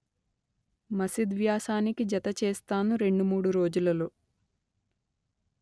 మసిద్ వ్యాసానికి జత చేస్తాను రెండు మూడు రోజులలో